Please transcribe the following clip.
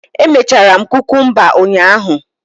Emechara m kukumba ụnyahụ